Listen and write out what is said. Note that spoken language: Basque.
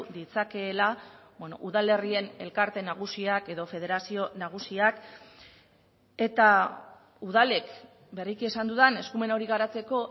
ditzakeela udalerrien elkarte nagusiak edo federazio nagusiak eta udalek berriki esan dudan eskumen hori garatzeko